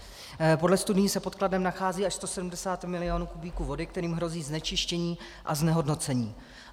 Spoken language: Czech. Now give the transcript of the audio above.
Podle studií se pod Kladnem nachází až 170 milionů kubíků vody, kterým hrozí znečištění a znehodnocení.